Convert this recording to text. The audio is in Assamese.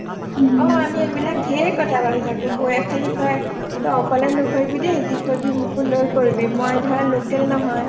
অ অমি এইবিলাক ধেৰ কথা ভাবি থাকো বৌয়ে খালি কয় তই অকলে নকৰিবি দেই যি কৰিবি মোকো লয় কৰিবি মই ধৰা local নহয়